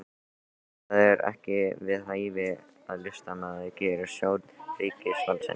Það er ekki við hæfi að listamaður gerist þjónn ríkisvaldsins